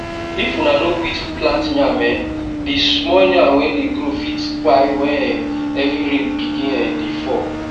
if una no quick plant yam um the small yam wey dey grow fit kpai when um heavy rain begin um dey fall